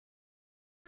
mamma mín